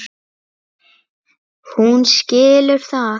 Hún skilur það.